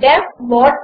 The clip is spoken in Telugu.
D E F what